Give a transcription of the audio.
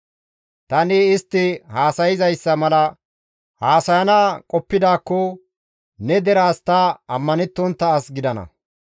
Tani istti haasayzayssa mala haasayana qoppidaakko ne deraas ta ammanettontta as gidana.